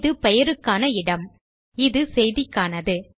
இது பெயருக்கான இடம் இது செய்திக்கானது